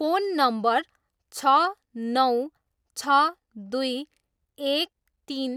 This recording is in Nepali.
फोन नम्बर छ नौ छ दुई एक तिन